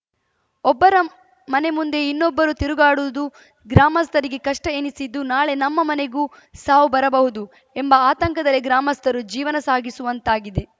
ಒಬ್ಬರ ಮನೆ ಮುಂದೆ ಇನ್ನೊಬ್ಬರು ತಿರುಗಾಡುವುದೂ ಗ್ರಾಮಸ್ಥರಿಗೆ ಕಷ್ಟಎನಿಸಿದ್ದು ನಾಳೆ ನಮ್ಮ ಮನೆಗೂ ಸಾವು ಬರಬಹುದು ಎಂಬ ಆತಂಕದಲ್ಲೇ ಗ್ರಾಮಸ್ಥರು ಜೀವನ ಸಾಗುಸುವಂತಾಗಿದೆ